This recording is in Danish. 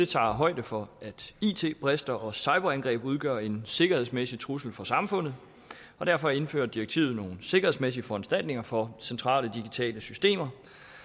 tager højde for at it brister og cyberangreb udgør en sikkerhedsmæssig trussel for samfundet derfor indfører direktivet nogle sikkerhedsmæssige foranstaltninger for centrale digitale systemer